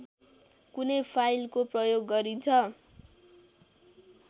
कुनै फाइलको प्रयोग गरिन्छ